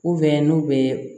n'u bɛ